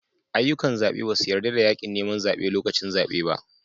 Ayyukan zabe ba su yarda da yakin neman zabe lokacin zabe ba